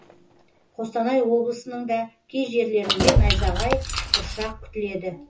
қостанай облысының да кей жерлеріңде найзағай бұршақ күтіледі